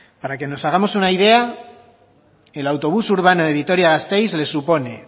para que nos hagamos una idea el autobús urbano de vitoria gasteiz le supone